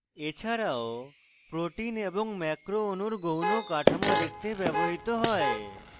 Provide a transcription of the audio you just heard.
এছাড়াও proteins এবং macro অণুর গৌণ কাঠামো দেখতে ব্যবহৃত হয়